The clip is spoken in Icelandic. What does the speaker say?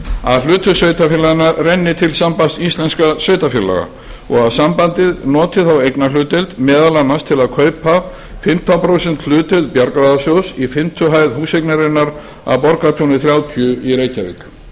að hlutverk sveitarfélaganna renni til sambands íslenskum sveitarfélaga og sambandið noti þá eignarhlutdeild meðal annars til að kaupa fimmtán prósenta hlutdeild bjargráðasjóð í fimmtu hæð húseignarinnar að borgartúni þrjátíu í reykjavík